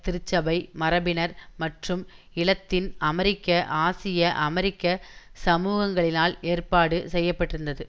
திருச்சபை மரபினர் மற்றும் இலத்தின் அமெரிக்க ஆசிய அமெரிக்க சமூகங்களினால் ஏற்பாடு செய்ய பட்டிருந்தது